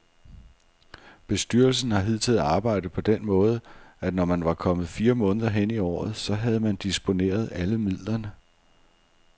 Bestyrelsen har hidtil arbejdet på den måde, at når man var kommet fire måneder hen i året, så havde man disponeret alle midlerne.